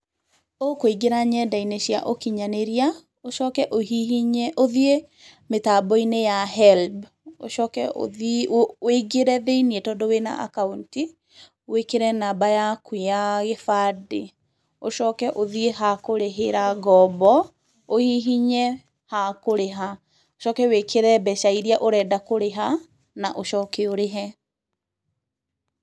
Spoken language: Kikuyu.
Ũkũingĩra nenda-inĩ cia ũkinyanĩria, ũcoke ũhihinye, ũthiĩ mĩtambo-inĩ ya HELB, ũcoke wĩingĩre thĩiniĩ, tondũ wĩ na akaunti, wĩkĩre namba yaku ya gĩbandĩ, ũcoke ũthiĩ ha kũrĩhĩra ngombo, ũhihinye ha kũrĩha, ũcoke wĩkĩre mbeca irĩa ũrenda kũrĩha na ũcoke ũrĩhe.